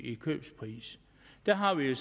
i købspris der har vi